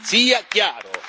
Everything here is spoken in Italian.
sia chiaro.